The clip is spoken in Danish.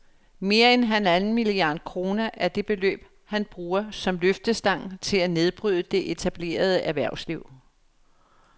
Mere end halvanden milliard kroner er det beløb, han bruger som løftestang til at nedbryde det etablerede erhvervsliv